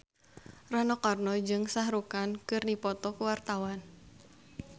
Rano Karno jeung Shah Rukh Khan keur dipoto ku wartawan